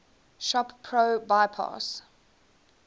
shop pro bypass